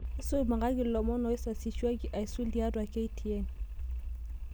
isumakaki ilomon oisasishwaki aisul tiatua k.t.n